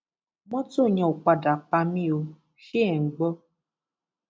mọtò yẹn ò padà pa mí ò ṣe é ń gbọ